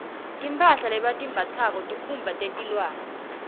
tiamphala lebatimbatsako tesikhumba teliwane